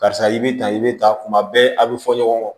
Karisa i bɛ ta i bɛ taa kuma bɛɛ a bɛ fɔ ɲɔgɔn kɔ